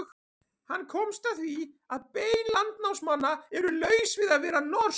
Hann komst að því að bein landnámsmanna eru laus við að vera norsk.